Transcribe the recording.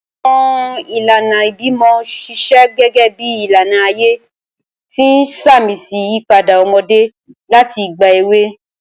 Awọn ilana ibimọ ṣiṣẹ gẹgẹbi ilana aye, ti n samisi iyipada ọmọde lati igba ewe.